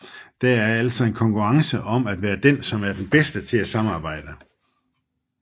Der er altså en konkurrence om at være den som er den bedste til at samarbejde